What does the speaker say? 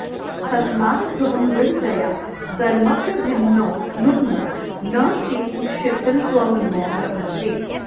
तस्माद्ध्रुवं दृढतया दरमप्यभिन्नौ नुन्नौ न तेन शिथिलत्वमिमौ लभन्ते